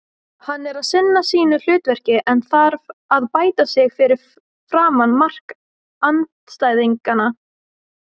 Hann er að sinna sínu hlutverki en þarf að bæta sig fyrir framan mark andstæðinganna.